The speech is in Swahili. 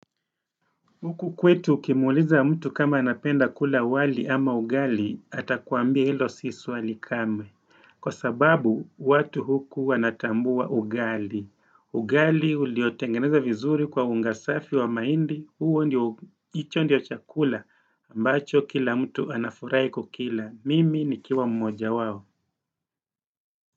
Huku kwetu ukimuliza mtu kama anapenda kula wali ama ugali atakuambia hilo si swali kame. Kwa sababu watu huku anatambua ugali. Ugali uliotengeneza vizuri kwa ungasafi wa mahindi, huo ndio, hicho ndio chakula ambacho kila mtu anafurai kukila. Mimi ni kiwa mmoja wao.